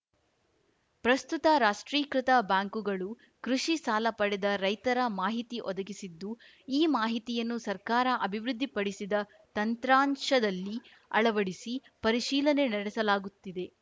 ಪ್ರಸ್ತುತ ರಾಷ್ಟ್ರೀಕೃತ ಬ್ಯಾಂಕುಗಳು ಕೃಷಿ ಸಾಲ ಪಡೆದ ರೈತರ ಮಾಹಿತಿ ಒದಗಿಸಿದ್ದು ಈ ಮಾಹಿತಿಯನ್ನು ಸರ್ಕಾರ ಅಭಿವೃದ್ಧಿ ಪಡಿಸಿದ ತಂತ್ರಾಂಶದಲ್ಲಿ ಅಳವಡಿಸಿ ಪರಿಶೀಲನೆ ನಡೆಸಲಾಗುತ್ತಿದೆ